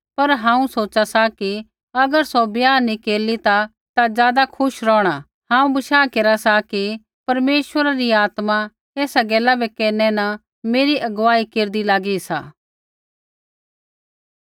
पर हांऊँ सोचा सा कि अगर सौ ब्याह नी केरली ता ज़ादा खुश रौहणा हांऊँ बशाह केरा सा कि परमेश्वरा री आत्मा ऐसा गैला बै केरनै न मेरी अगुवाई केरदी लागी सा